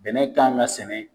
Bɛnɛ kan ka sɛnɛ